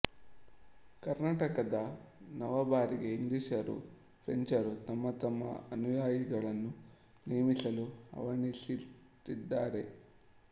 ಕರ್ಣಾಟಕದ ನವಾಬರಿಗೆ ಇಂಗ್ಲಿಷರೂ ಫ್ರೆಂಚರೂ ತಮ್ಮ ತಮ್ಮ ಅನುಯಾಯಿಗಳನ್ನು ನೇಮಿಸಲು ಹವಣಿಸುತ್ತಿದ್ದರು